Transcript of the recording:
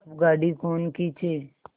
अब गाड़ी कौन खींचे